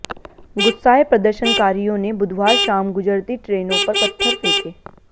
गुस्साए प्रदर्शनकारियों ने बुधवार शाम गुजरती ट्रेनों पर पत्थर फेंके